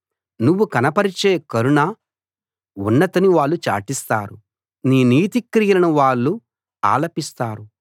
నువ్వు కనపరిచే కరుణ ఉన్నతిని వాళ్ళు చాటిస్తారు నీ నీతి క్రియలను వాళ్ళు ఆలపిస్తారు